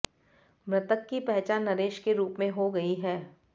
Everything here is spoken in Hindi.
मृतक की पहचान नरेश के रुप हो गई है